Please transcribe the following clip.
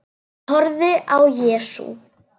Horfði á Jesú.